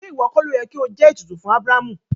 Ṣe iwọ kọ lóyè ki o jẹ ètùtù fún Abrahamu?